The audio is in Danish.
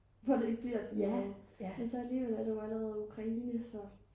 hvor det ikke bliver til noget man så alligevel så er der jo allerede ukraine så